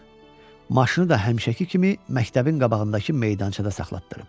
Maşını da həmişəki kimi məktəbin qabağındakı meydançada saxlatdırıb.